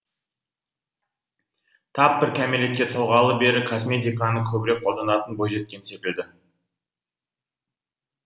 тап бір кәмелетке толғалы бері косметиканы көбірек қолданатын бойжеткен секілді